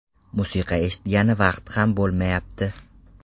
Musiqa eshitgani vaqt ham bo‘lmayapti.